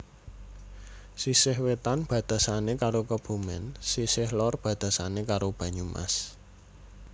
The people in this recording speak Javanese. Sisih wetan batesane karo Kebumen sisih lor batesane karo Banyumas